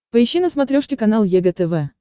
поищи на смотрешке канал егэ тв